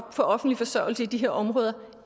offentlig forsørgelse i de her områder